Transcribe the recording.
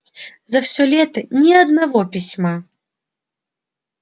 за всё лето ни одного письма